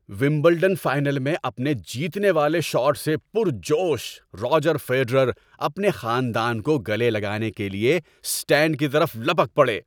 Wimbledon final میں اپنے جیتنے والے شاٹ سے پرجوش، راجر فیڈرر اپنے خاندان کو گلے لگانے کے لیے اسٹینڈ کی طرف لپک پڑے۔